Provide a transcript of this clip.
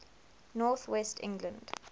north west england